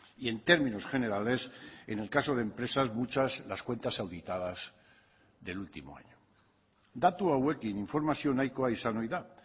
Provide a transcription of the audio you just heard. y en términos generales en el caso de empresas muchas las cuentas auditadas del último año datu hauekin informazio nahikoa izan ohi da